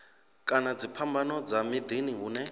kana dziphambano dza miḓini hune